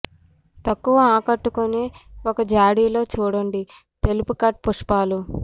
తక్కువ ఆకట్టుకునే ఒక జాడీ లో చూడండి తెలుపు కట్ పుష్పాలు